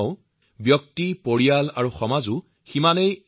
প্ৰতিষেধকজনিত চিকিৎসা যথেষ্ট সস্তীয়া আৰু সহজলভ্য